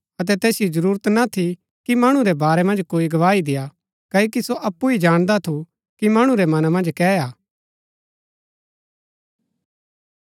अतै तैसिओ जरूरत ना थी कि मणु रै बारै मन्ज कोई गवाही देआ क्ओकि सो अप्पु ही जाणदा थू कि मणु रै मना मन्ज कै हा